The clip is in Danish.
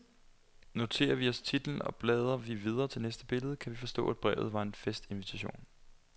Noterer vi os titlen og blader vi videre til næste billede, kan vi forstå, at brevet var en festinvitation.